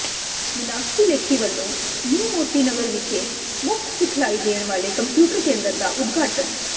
ਮਿਨਾਕਸ਼ੀ ਲੇਖੀ ਵੱਲੋਂ ਨਿਊ ਮੋਤੀ ਨਗਰ ਵਿਖੇ ਮੁਫ਼ਤ ਸਿਖਲਾਈ ਦੇਣ ਵਾਲੇ ਕੰਪਿਊਟਰ ਕੇਂਦਰ ਦਾ ਉਦਘਾਟਨ